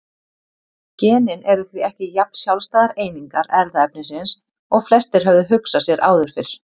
Genin eru því ekki jafn sjálfstæðar einingar erfðaefnisins og flestir höfðu hugsað sér áður fyrr.